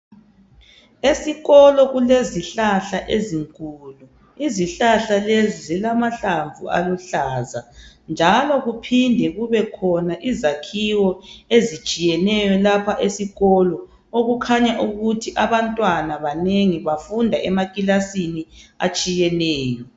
Esikolo kulezihlahla ezinkulu. Izihlahla lezi zilamahlamvu aluhlaza njalo kuphinde kubekhona izakhiwo ezitshiyeneyo lapha esikolo okukhanya ukuthi abantwana banengi bafunda emakilasini atshiyeneyo.